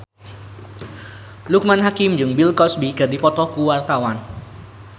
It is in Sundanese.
Loekman Hakim jeung Bill Cosby keur dipoto ku wartawan